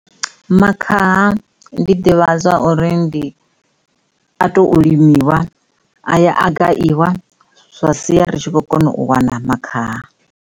Makhaha ndi ḓivha zwa uri ndi a tou u limiwa a ya a gayiwa zwa sia ri kho kona u wana makhaha.